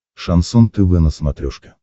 шансон тв на смотрешке